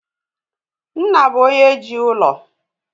Nna bụ onye jii ụlọ